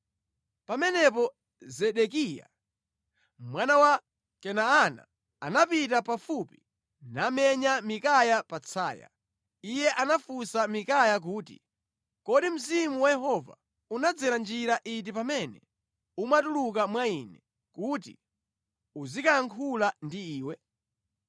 Pamenepo Zedekiya mwana wa Kenaana anapita pafupi namenya Mikaya patsaya. Iye anafunsa Mikaya kuti, “Kodi mzimu wa Yehova unadzera njira iti pamene umatuluka mwa ine kuti uziyankhula ndi iwe?”